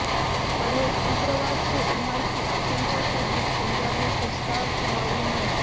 पढ़ेंः उग्रवाद के उभार की आशंका के बीच पंजाब में सजता चुनावी मंच